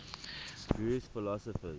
jewish philosophers